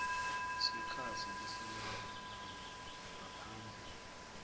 sikhatsi lesingakanani ngaphambi